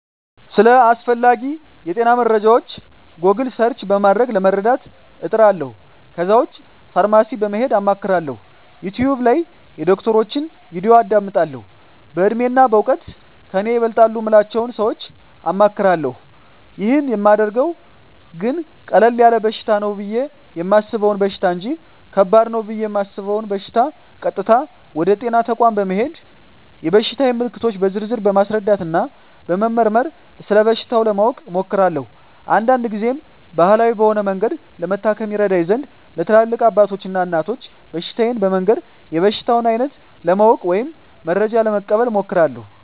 ስለ አስፈላጌ የጤና መረጃወች "ጎግል" ሰርች" በማድረግ ለመረዳት እጥራለሁ ከዛ ውጭ ፋርማሲ በመሄድ አማክራለሁ፣ "ዩቲውብ" ላይ የዶክተሮችን "ቪዲዮ" አዳምጣለሁ፣ በእድሜና በእውቀት ከኔ ይበልጣሉ ምላቸውን ሰወች አማክራለሁ። ይህን ማደርገው ግን ቀለል ያለ በሽታ ነው ብየ የማሰበውን በሽታ እንጅ ከባድ ነው ብየ እማስበውን በሸታ ቀጥታ ወደ ጤና ተቋም በመሄድ የበሽታየን ምልክቶች በዝርዝር በማስረዳትና በመመርመር ስለበሽታው ለማወቅ እሞክራለሁ። አንዳንድ ግዜም ባህላዊ በሆነ መንገድ ለመታከም ይረዳኝ ዘንድ ለትላልቅ አባቶች እና እናቶች በሽታየን በመንገር የበሽታውን አይነት ለማወቅ ወይም መረጃ ለመቀበል እሞክራለሁ።